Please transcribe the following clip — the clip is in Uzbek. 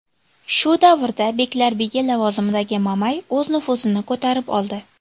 Shu davrda beklarbegi lavozimidagi Mamay o‘z nufuzini ko‘tarib oldi.